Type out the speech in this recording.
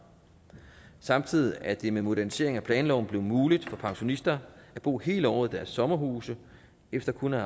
samtidig er det med modernisering af planloven blevet muligt for pensionister at bo hele året i deres sommerhuse efter kun at